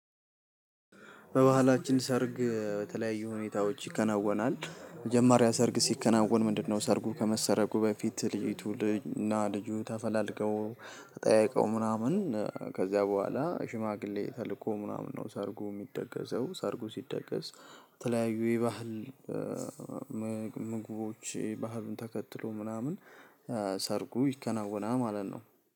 በባህላችን ሰርግ በተለያዩ ሁኔታዎች ይከናወናል። መጀመሪያ ሰርግ ሲከናወን ምንድነው? ሰርጉ ከመሰረጉ በፊት ልጅቱ እና ልጁ ተፈላልገው ጠይቀው ምናምን ከዚያ በኋላ ሽማግሌ ተልኮ ምናምን ነው ሰርጉ የሚደገሰው። ሰርጉ ሲደገስ የተለያዩ የባህል ምግቦች፤ ባህሉን ተከትሎ ምናምን ሰርጉ ይከናወናል ማለት ነው።